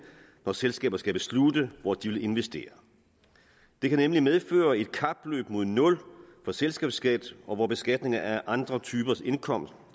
når selskaber skal beslutte hvor de vil investere det kan nemlig medføre et kapløb mod nul for selskabsskat hvormed beskatningen af andre typer indkomst